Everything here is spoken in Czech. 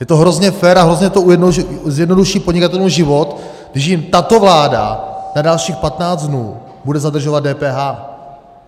Je to hrozně fér a hrozně to zjednoduší podnikatelům život, když jim tato vláda na dalších 15 dnů bude zadržovat DPH!